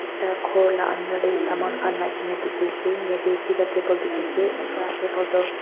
Ekta ghor la andar dae saman khan rakhi dekhe ase yatheh duida table dekhe ase ekta table tuh--